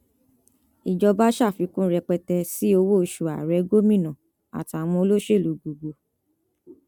ìjọba ṣàfikún rẹpẹtẹ sí owóoṣù ààrẹ gómìnà àtàwọn olóṣèlú gbogbo